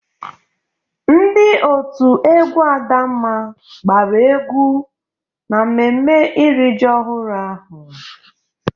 Ndị òtù egwú Adamma gbara egwú n'mmemme iri ji ọhụrụ ahụ.